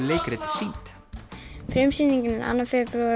leikrit sýnd frumsýningin er annað